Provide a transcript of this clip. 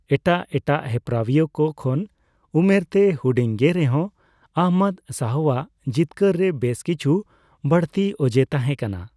ᱮᱴᱟᱜ ᱮᱴᱟᱜ ᱦᱮᱯᱨᱟᱣᱤᱭᱟᱹ ᱠᱚ ᱠᱷᱚᱱ ᱩᱢᱮᱨᱛᱮᱭ ᱦᱩᱰᱤᱧᱜᱮ ᱨᱮᱦᱚᱸ, ᱟᱦᱚᱢᱚᱫ ᱥᱟᱦᱚᱣᱟᱜ ᱡᱤᱛᱠᱟᱹᱨ ᱨᱮ ᱵᱮᱥ ᱠᱤᱪᱷᱩ ᱵᱟᱹᱲᱛᱤ ᱚᱡᱮ ᱛᱟᱦᱮᱸ ᱠᱟᱱᱟ ᱾